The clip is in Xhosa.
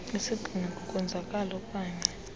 isigxina kukwenzakala oknaye